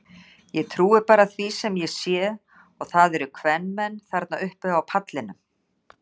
Ég trúi bara því sem ég sé og það eru kvenmenn þarna uppi á pallinum.